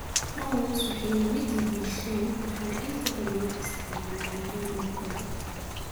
Prawns waxay la mid yihiin shrimp waxaana inta badan loo isticmaalaa cuntooyinka badda.